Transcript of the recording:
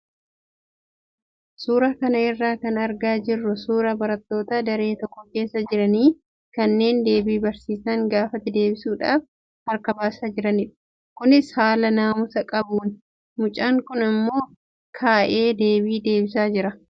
Suuraa kana irraa kan argaa jirru suuraa barattoota daree tokko keessa jiranii kanneen deebii barsiisaan gaafate deebisuudhaaf harka baasaa jiranidha. Kunis haala naamusa qabuuni. Mucaan tokko immoo ka'ee deebii deebisaa jira.